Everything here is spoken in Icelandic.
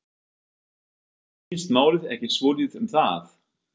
Snýst málið ekki svolítið um það?